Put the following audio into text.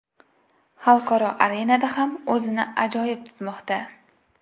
Xalqaro arenada ham o‘zini ajoyib tutmoqda.